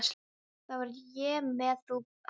Þar var ég með bú áður.